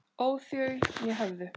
óð þau né höfðu